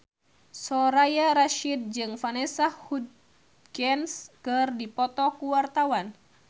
Soraya Rasyid jeung Vanessa Hudgens keur dipoto ku wartawan